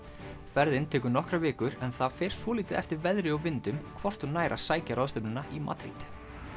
ferðin tekur nokkrar vikur en það fer svolítið eftir veðri og vindum hvort hún nær að sækja ráðstefnuna í Madríd